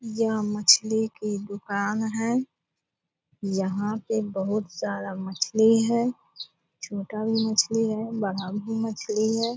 यह मछली की दुकान है। यहाँ पे बहुत सारा मछली है। छोटा भी मछली है बड़ा भी मछली है।